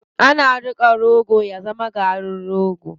Ana niƙa rogo ya zama garin rogo.